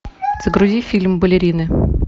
загрузи фильм балерины